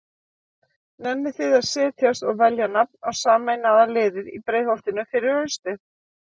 Nennið þið að setjast og velja nafn á sameinaða liðið í Breiðholtinu fyrir haustið?